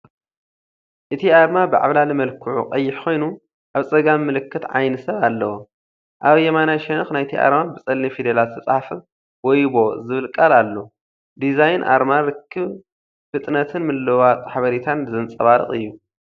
እቲ ኣርማ ብዓብላሊ መልክዑ ቀይሕ ኮይኑ፡ ኣብ ጸጋም ምልክት ዓይኒ ሰብ ኣለዎ። ኣብ የማናይ ሸነኽ ናይቲ ኣርማ ብጸሊም ፊደላት ዝተጻሕፈ "ወይቦ" ዝብል ቃል ኣሎ። ዲዛይን ኣርማ ርክብ፡ ፍጥነትን ምልውዋጥ ሓበሬታን ዘንጸባርቕ እዩ።